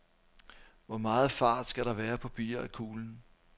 Hvor meget fart skal der være på billiardkuglen?